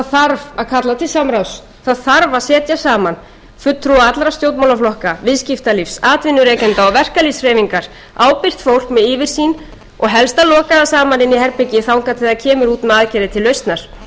þarf að kalla til samráðs það þarf að setja saman fulltrúa allra stjórnmálaflokka viðskiptalífs atvinnurekenda og verkalýðshreyfingar ábyrgt fólk með yfirsýn og helst að loka það saman inni í herbergi þangað til það kemur út með aðgerðir til lausnar það gengur